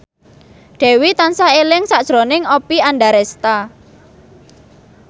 Dewi tansah eling sakjroning Oppie Andaresta